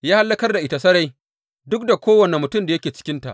Ya hallakar da ita sarai duk da kowane mutum da yake cikinta.